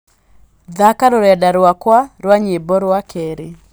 thaaka rũrenda rwakwa rwa nyĩmbo rwa keerĩ